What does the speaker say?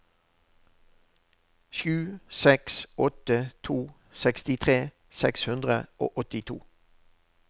sju seks åtte to sekstitre seks hundre og åttito